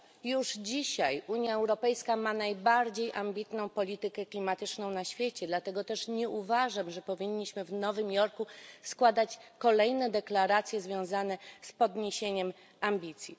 Już dzisiaj Unia Europejska ma najbardziej ambitną politykę klimatyczną na świecie, dlatego też nie uważam, że powinniśmy w Nowym Jorku składać kolejne deklaracje związane z podniesieniem poziomu ambicji.